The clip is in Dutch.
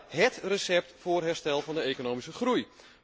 Ziedaar het recept voor het herstel van de economische groei.